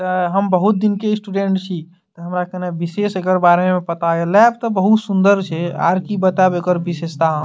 अ हम बहुत दिन के स्टूडेंट छी हमरा खने विशेष एकर बारे में पता है लैब तो बहुत सुन्दर छे आर की बतावे एकर विशेषता हम --